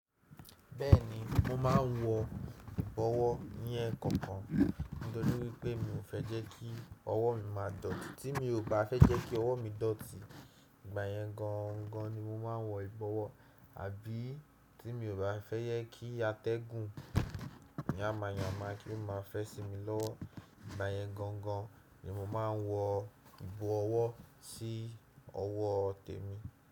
Bẹ́ẹ̀ni, mo ma ń wọ ìbọwọ́ ní ẹ̀ẹ̀kan kan nítorí wípé mi ò fẹ́ jẹ́ kí ọwọ́ mi má dọ̀tí. Tí mi ò bá fẹ́ jẹ́ kí ọwọ́ mi dọ̀tí, ìgbàyẹn gan gan ni mo ma ń wọ ìbọwọ́. Àbí tí mi ò bá fẹ́ yẹ kí atẹ́gùn mi yáma yàmà kí wọ́n má fẹ́ sí mi lọ́wọ́, ìgbàyẹn gan gan ni mo ma ń wọ ìbọ owọ́ sí ọwọ́ tèmi.